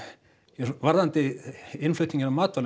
varðandi innflutninginn á matvælum